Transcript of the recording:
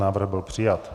Návrh byl přijat.